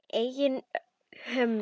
Eigin hömlum.